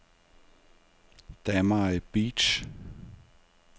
Damai Beach